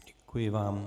Děkuji vám.